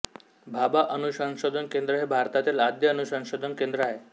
भाभा अणुसंशोधन केंद्र हे भारतातील आद्य अणुसंशोधन केंद्र आहे